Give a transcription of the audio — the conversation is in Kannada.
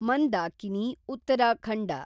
ಮಂದಾಕಿನಿ, ಉತ್ತರಾಖಂಡ